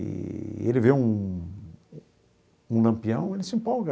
Eee ele vê um um Lampião, ele se empolga.